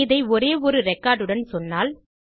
இதை ஒரே ஒரு ரெக்கார்ட் உடன் சொன்னால்